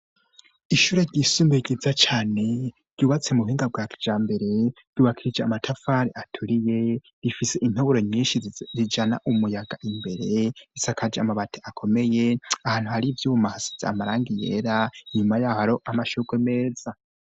Ishure ryisumbuye ryiza cane ryubatse mu buhinga bwa kijambere, ryubakishije amatafari aturiye rifise intoboro nyinshi zijana umuyaga imbere, risakaje amabati akomeye, ahantu hari ivyuma hasize amarangi yera, inyuma yaho hari amashurwe meza.